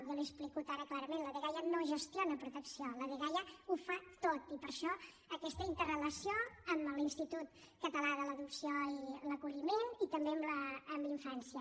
jo l’hi explico ara clarament la dgaia no gestiona protecció la dgaia ho fa tot i per això aquesta interrelació amb l’institut català de l’acolliment i de l’adopció i també amb la infància